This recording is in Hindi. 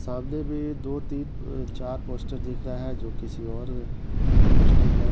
सामने भी दो तीन म्म् चार पोस्टर दिख रहा है जो किसी और का पोस्टर है।